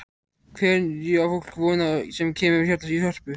Hverju á fólk von á sem kemur hérna í Hörpu?